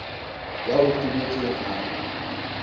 ya o tebetseng a re